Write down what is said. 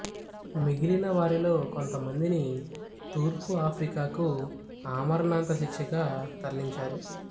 మిగిలిన వారిలో కొంతమందిని తూర్పు ఆఫ్రికాకు ఆమరణాంత శిక్షగా తరలించారు